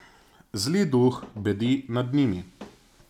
Zli duh bedi nad njimi.